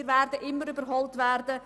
Wir werden immer überholt werden.